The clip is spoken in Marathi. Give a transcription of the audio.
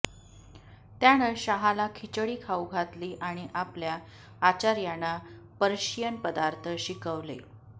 त्यानं शाहाला खिचडी खाऊ घातली आणि आपल्या आचार्यांना पर्शियन पदार्थ शिकवले